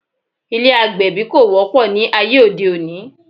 Ilé́ agbẹ̀bí kò wọ́pọ̀ ní ayé òde òní